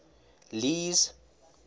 lee's